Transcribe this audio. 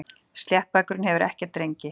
Sléttbakurinn hefur ekkert rengi.